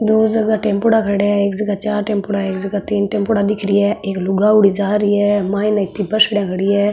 दो जगह टेम्पोडा खड़ा है एक जगह चार टेम्पुडा एक जगह तीन टेम्पोडा दिख रिया है एक लुगावाडी जा रही है माइन इति बसड़ीया खड़ी है।